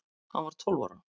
Hann var tólf ára.